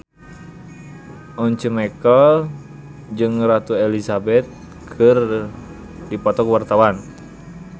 Once Mekel jeung Ratu Elizabeth keur dipoto ku wartawan